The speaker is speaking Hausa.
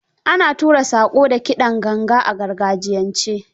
Ana tura saƙo da kidan ganga a gargajiyance.